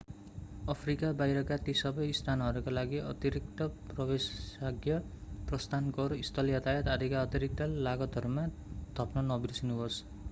Africa बाहिरका ती सबै स्थानहरूका लागि अतिरिक्त प्रवेशाज्ञा प्रस्थान कर स्थल यातायात आदिका अतिरिक्त लागतहरूमा थप्न नबिर्सनुहोस्